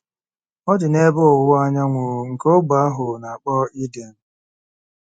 Ọ dị n’ebe ọwụwa anyanwụ nke ógbè ahụ a na-akpọ Iden.